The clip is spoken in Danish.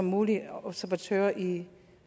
mulig observatør i